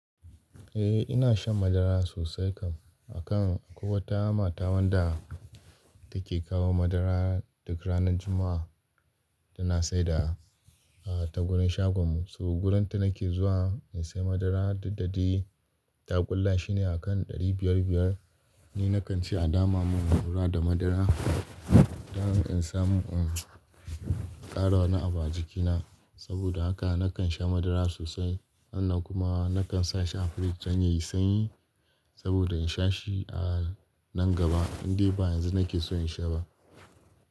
Eh ina shan madara sosai kam, akan akwai wata mata wanda take kawo madara duk ranar Jumma'a, tana saida a ta gurin shagon mu, saboda wurin ta nake zuwa in sai madara duk da dai taƙulla shine akan ɗari biyar biyar. Ni nakan ce a dama mun fura da madara don in samu, ƙara wani abu a jikina saboda haka, nakan sha madara sosai. Sannan kuma nakan sa shi a firij don yayi sanyi saboda in sha shi a nan gaba, indai ba yanzu nake so in sha ba.